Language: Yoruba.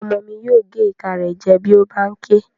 Ọmọ mi yóò gé ìka rẹ̀ jẹ bí ó bá n ké